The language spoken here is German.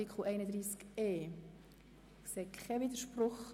– Ich sehe keinen Widerspruch.